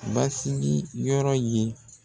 Basigi yɔrɔ ye